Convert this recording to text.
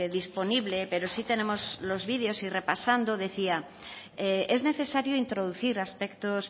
disponible pero sí tenemos los videos y repasando decía es necesario introducir aspectos